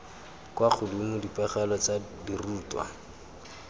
kwa godimo dipegelo tsa dirutwa